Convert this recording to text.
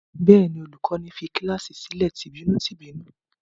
Bẹ́ẹ̀ ni, olùkọ́ní fi kíláàsì sílẹ̀ tìbínú-tìbínú.